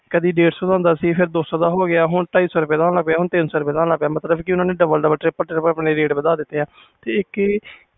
ਕਦੀ ਡੇਢ ਸੋ ਦਾ ਹੁੰਦਾ ਸੀ ਫਿਰ ਦੋ ਸੋ ਦਾ ਹੋ ਗਿਆ ਹੁਣ ਢਾਈ ਸੋ ਦਾ ਹੋ ਗਿਆ ਹੁਣ ਤਿੰਨ ਸੋ ਦਾ ਹੋ ਗਿਆ ਮਤਬਲ ਕਿ double double triple triple ਓਹਨੇ ਨੇ ਰੇਟ ਵਾਧਾ ਦਿਤੇ ਨੇ